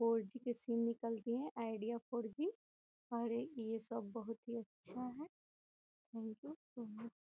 four G के sim निकल गए है आईडिया फोर जी और ये सब बहुत ही अच्छा है --